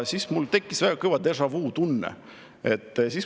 Siis mul tekkis väga kõvasti déjà-vu tunne.